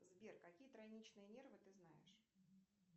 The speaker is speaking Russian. сбер какие тройничные нервы ты знаешь